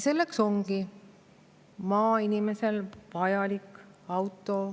Selleks ongi maainimesele vaja autot.